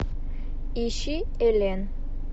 ищи элен